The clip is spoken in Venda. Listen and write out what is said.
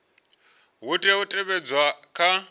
ha tea u teavhedzwa kha